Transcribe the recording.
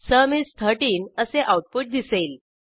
sum is 13 असे output दिसेल